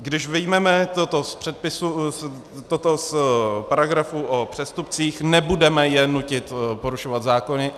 Když vyjmeme toto z paragrafu o přestupcích, nebudeme je nutit porušovat zákony.